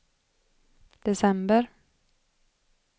december